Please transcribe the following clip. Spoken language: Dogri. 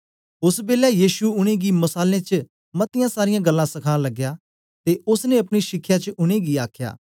ओसबेलै यीशु उनेंगी मसालें च मतीयां सारीयां गल्लां सखान लगया ते ओसने अपनी शिखया च उनेंगी आखया